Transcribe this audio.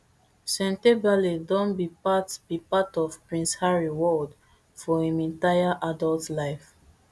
sentebale don be part be part of prince harry world for im entire adult life